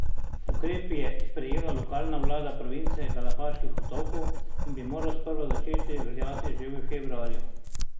Ukrep je sprejela lokalna vlada province Galapaških otokov in bi moral sprva začeti veljati že v februarju.